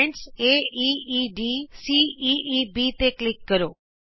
ਬਿੰਦੂ A E E D C E E B ਤੇ click ਕਰੋ